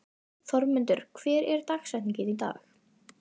Þormundur, hver er dagsetningin í dag?